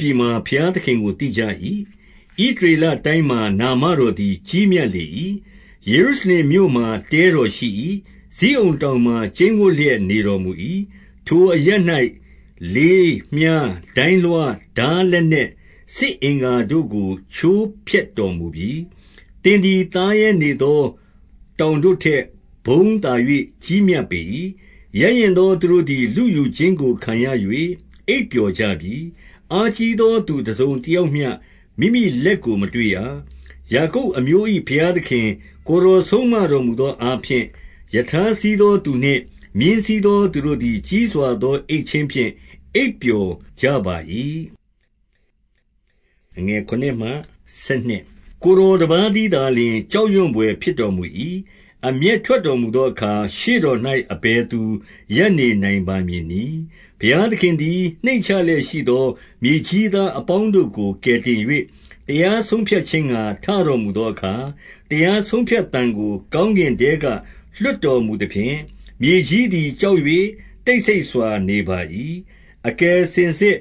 ပြည်မှာ ဘုရားသခင်ကို သိကြ၏။ ဣသရေလ တိုင်းမှာ နာမတော်သည် ကြီးမြတ်လေ၏။ 2 ယေရုရှလင်မြို့မှာ တဲတော်ရှိ၏။ ဇိအုန်တောင် မှာ ကျိန်ဝပ်လျက် နေတော်မူ၏။ 3 ထိုအရပ်၌ လေးမြှား၊ ဒိုင်းလွှား၊ ထားလက်နက်၊ စစ်အင်္ဂါတို့ကို ချိုးဖျက်တော်မူပြီ။ 4 သင်သည် သားရဲနေသော တောင်တို့ထက်ဘုန်းသာ၍ ကြီးမြတ်ပေ၏။ 5 ရဲရင့်သော သူတို့သည် လုယူခြင်း ကို ခံရ၍ အိပ်ပျော်ကြပြီ။ အားကြီးသော သူတစုံ တယောက်မျှ မိမိလက်ကို မတွေ့ရ။ 6 ယာကုပ်အမျိုး၏ ဘုရားခင်၊ ကိုယ်တော်ဆုံးမ တော်မူသောအားဖြင့်၊ ရထားစီးသောသူနှင့် မြင်းစီးသော သူတို့သည် ကြီးစွာသော အိပ်ခြင်းဖြင့် အိပ်ပျော်ကြပါ၏။ 7 ကိုယ်တော်တပါးတည်းသာလျှင် ကြောက်ရွံ ဘွယ်ဖြစ်တော်မူ၏။ အမျက်ထွက်တော်မူသောအခါ၊ ရှေ့တော်၌ အဘယ်သူရပ်နေနိုင်ပါမည်နည်း။ 8 ဘုရားသခင်သည် နှိမ့်ချလျက်ရှိသော မြေကြီးသား အပေါင်းတို့ကို ကယ်တင်၍၊ 9 တရားဆုံးဖြတ်ခြင်းငှါ ထတော်မူသောအခါ၊ တရားဆုံးဖြတ်သံကို ကောင်းကင်ထဲက လွှတ်တော်မူ သဖြင့်၊ မြေကြီးသည် ကြောက်၍ တိတ်ဆိတ်စွာနေပါ၏။ 10 အကယ်စင်စစ်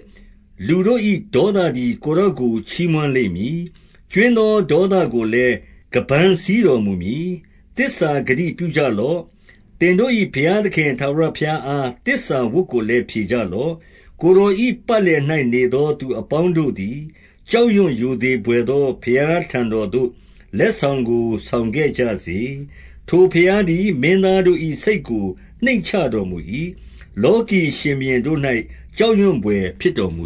လူတို့၏ ဒေါသသည် ကိုယ်တော် ကို ချီးမွမ်းလိမ့်မည်။ ကြွင်းသောဒေါသကိုလည်း ခါးပန်း စည်းတော်မူမည်။ 11 သစ္စာဂတိပြုကြလော့။ သင်တို့၏ဘုရားခင် ထာဝရဘုရားအား သစ္စာဝတ်ကိုလည်း ဖြေကြလော့။ ကိုယ်တော်၏ ပတ်လည်၌နေသော သူအပေါင်းတို့သည် ကြောက်ရွံ ရိုသေဘွယ်သော ဘုရားထံတော်သို့ လက်ဆောင်ကို ဆောင်ခဲ့ကြစေ။ 12 ထိုဘုရားသည် မင်းသားတို့၏ စိတ်ကို နှိမ့်ချ တော်မူ၏။ လောကီရှင်ဘုရင်တို့၌ ကြောက်ရွံဘွယ် ဖြစ်တော်မူ